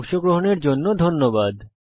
অংশগ্রহনের জন্য ধন্যবাদ